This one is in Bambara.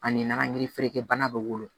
Ani nan yirifeerebana bɛ wolo